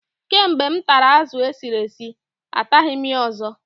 Kamgbe m tara azụ esiri esi, ataghị m ya ọzọ.